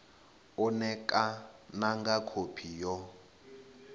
u ṋekana nga khophi yo